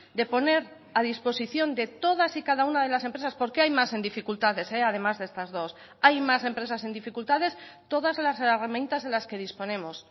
de poner a disposición de todas y cada una de las empresas porque hay más en dificultades además de estas dos hay más empresas en dificultades todas las herramientas de las que disponemos